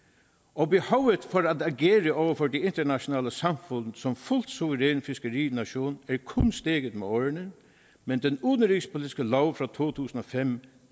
og behovet for at agere over for det internationale samfund som fuldt suveræn fiskerination er kun steget med årene men den udenrigspolitiske lov fra to tusind og fem